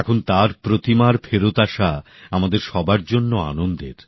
এখন তার প্রতিমার ফেরত আসা আমাদের সবার জন্য আনন্দের